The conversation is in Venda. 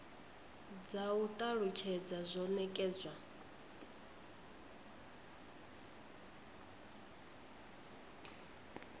dza u talutshedza zwo nekedzwa